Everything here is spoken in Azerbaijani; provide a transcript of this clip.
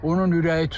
Onun ürəyi tutub.